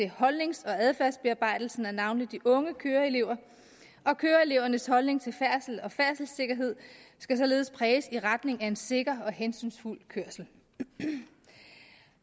holdnings og adfærdsbearbejdelsen over for navnlig de unge køreelever køreelevernes holdning til færdsel og færdselssikkerhed skal således præges i retning af en sikker og hensynsfuld kørsel